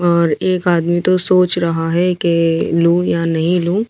और एक आदमी तो सोच रहा है के लूँ या नहीं लूँ।